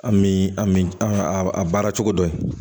An mi an mi an ga a baara cogo dɔ